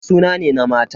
Kande suna ne na mata.